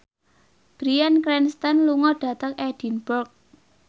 Bryan Cranston lunga dhateng Edinburgh